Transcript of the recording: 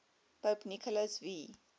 pope nicholas v